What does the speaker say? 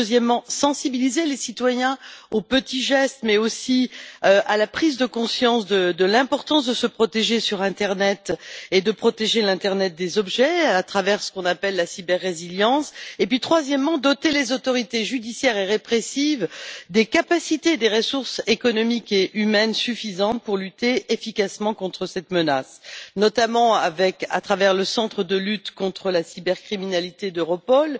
Deuxièmement, sensibiliser les citoyens aux petits gestes, mais aussi à la prise de conscience de l'importance de se protéger sur l'internet et de protéger l'internet des objets à travers ce qu'on appelle la cyber résilience et, troisièmement, doter les autorités judiciaires et répressives de capacités et de ressources économiques et humaines suffisantes pour lutter efficacement contre cette menace, notamment par l'intermédiaire du Centre européen de lutte contre la cybercriminalité d'Europol.